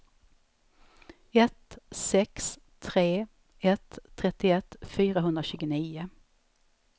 ett sex tre ett trettioett fyrahundratjugonio